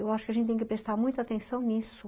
Eu acho que a gente tem que prestar muita atenção nisso.